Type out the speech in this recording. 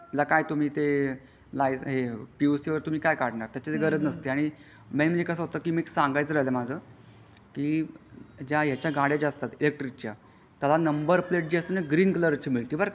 तिला काय तुम्ही ते लायसे पी यू सी काय काढणार त्याची काही गरज नसते आणि मेनली कसा होता कि सांगणं राहते माझा कि ज्या याच्या गाड्या ज्या असते इलेकट्रीक चा त्याचा नंबर प्लेट जी असते ती ग्रीन कलर ची मिळते बारा का.